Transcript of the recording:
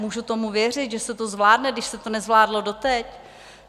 Můžu tomu věřit, že se to zvládne, když se to nezvládlo doteď?